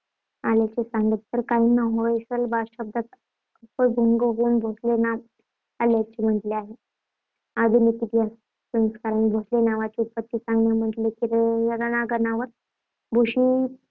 आल्याचे सांगतात तर काहींनी होयसल शब्दाचा अपभृंश होऊन भोसले नाव आल्याचे म्हटले आहे. आधुनिक इतिहासकारांनी भोसले नावाची उत्पत्ती सांगताना म्हटले आहे की, रणांगणावर